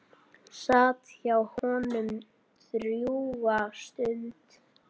Sat hjá honum drjúga stund.